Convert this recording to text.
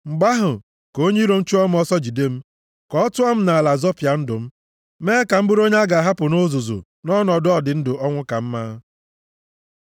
Mgbe ahụ, ka onye iro m chụọ m ọsọ, jide m; ka ọ tụọ m nʼala zọpịa ndụ m, mee ka m bụrụ onye a ga-ahapụ nʼuzuzu nʼọnọdụ ọdịndụ-ọnwụkamma. Sela